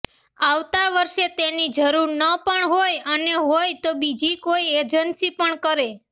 આવતા વર્ષે તેની જરૂર ન પણ હોય અને હોય તો બીજી કોઈ એજન્સી પણ કરે